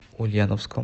ульяновском